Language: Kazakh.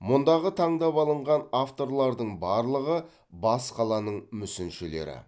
мұндағы таңдап алынған авторлардың барлығы бас қаланың мүсіншілері